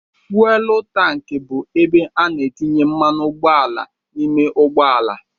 Fụwel tanki bụ ebe a na-etinye mmanụ ụgbọala n'ime ụgbọala.